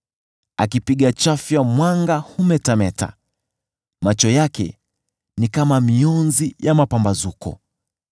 Akipiga chafya mwanga humetameta; macho yake ni kama mionzi ya mapambazuko.